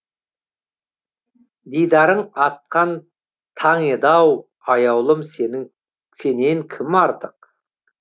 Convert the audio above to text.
дидарың атқан таң еді ау аяулым сенің сенен кім артық